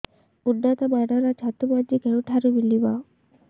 ଉନ୍ନତ ମାନର ଛତୁ ମଞ୍ଜି କେଉଁ ଠାରୁ ମିଳିବ